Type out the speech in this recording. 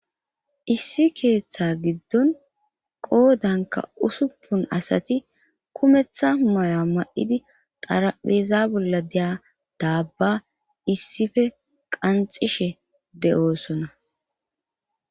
Issi keeththa giddon qoodanka usuppun asati kumeththa maya ma7idi xarapheeza bolla deya daabba issife qanxishe de7oosona